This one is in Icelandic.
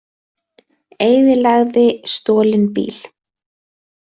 Eyðilagði stolinn bíl